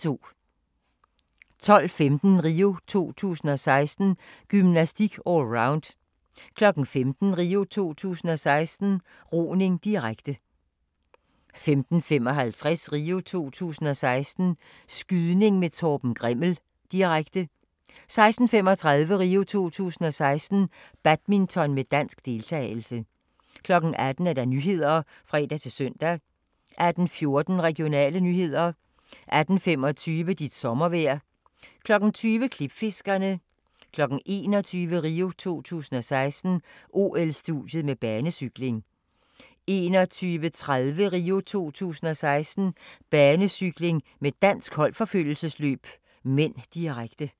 12:15: RIO 2016: Gymnastik - allround 15:00: RIO 2016: Roning, direkte 15:55: RIO 2016: Skydning med Torben Grimmel, direkte 16:35: RIO 2016: Badminton med dansk deltagelse 18:00: Nyhederne (fre-søn) 18:14: Regionale nyheder 18:25: Dit sommervejr 20:00: Klipfiskerne 21:00: RIO 2016: OL-studiet med banecykling 21:30: RIO 2016: Banecykling med dansk holdforfølgelsesløb (m), direkte